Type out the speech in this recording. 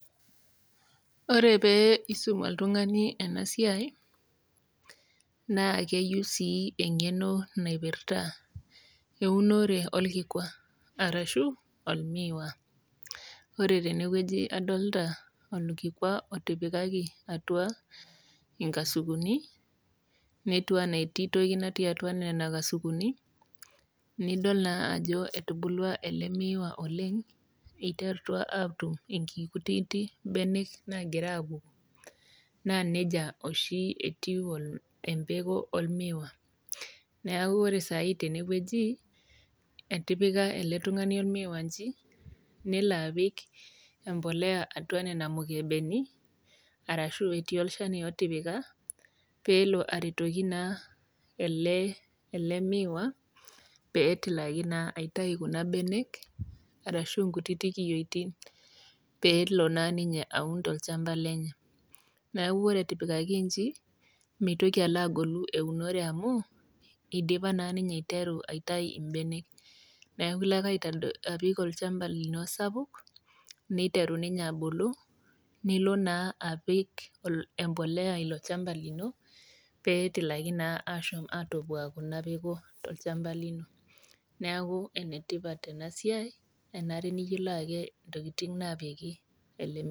Ore pee isum oltug'ani ena siai, naa keyou eng'eno naipirata eunore olkikwa, arashu olmiwa. Ore tene wueji adolita olkikwa otipikaki atua inkasukuni, netiu anaa etii toki atua nena kasukuni, nidol naa ajo etubulua ele miiwa oleng', eiterutua atum inkutitik benek naagira aapuku. Naa neija oshi etiu empeko olmiiwa, neaku ore saai tene wueji, etipika ele tung'ani olmiiwa inji, nelo apik empolea atua nena mukebeni, arashu etii olchani otipika, peelo aretoki naa ele miiwa pee etilaki naa aitayu kuna benek, arashu inkutitik kiyioitin, peelo naa ninye aun tolchamba lenye, neaku ore etipikaki inji, meitoki alo agolu eunore amuu eidipa naa ninye aiteru aitayu imbenek. Neaku ilo ake apik ochamba lino sapuk, neiteru ninye abulu, nilo naa apik empolea ilo chamba lino, pee etilaki naa ashom atopok ina peko tiatua oolchamba lino. Neaku enetipat ena siai enare ake niyolou intokitin ake naapiki ile miiwa.